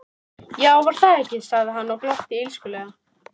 Já, var það ekki, sagði hann og glotti illskulega.